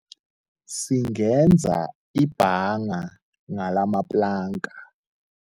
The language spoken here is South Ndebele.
Singenza ibhanga ngalamaplanka.